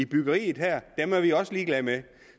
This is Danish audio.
byggeriet er vi også ligeglade med